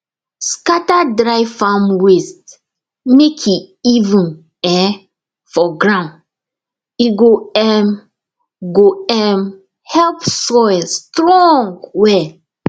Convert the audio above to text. scatter dry farm waste mek e even um for ground e go um go um help soil strong well